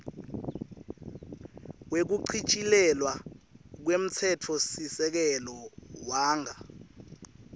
wekuchitjilelwa kwemtsetfosisekelo wanga